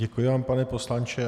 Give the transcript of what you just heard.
Děkuji vám, pane poslanče.